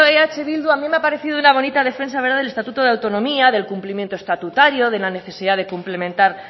eh bildu a mí me ha parecido una bonita defensa del estatuto de autonomía del cumplimiento estatutario de la necesidad de cumplimentar